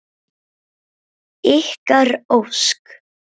Ykkar Ósk.